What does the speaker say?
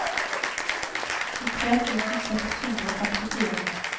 tjuetre tusen seks hundre og femtifire